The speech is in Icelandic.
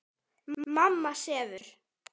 Mamma sefur.